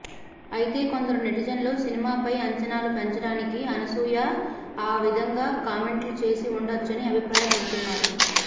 అయితే కొందరు నెటిజన్లు సినిమాపై అంచనాలు పెంచడానికి అనసూయ ఆ విధంగా కామెంట్లు చేసి ఉండవచ్చని అభిప్రాయపడుతున్నారు